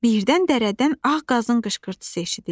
Birdən dəridən ağ qazın qışqırtısı eşidildi.